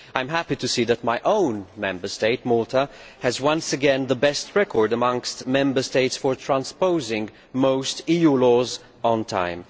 I am happy to see that my own Member State, Malta, once again has the best record amongst Member States for transposing most EU laws on time.